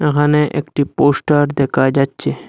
এখানে একটি পোস্টার দেখা যাচ্ছে।